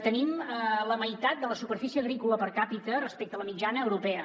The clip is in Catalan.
tenim la meitat de la superfície agrícola per capitate a la mitjana europea